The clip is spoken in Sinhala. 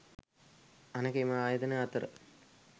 අනෙක එම ආයතන අතර